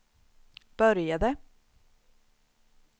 började